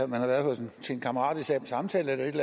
man har været til en kammeratlig samtale eller et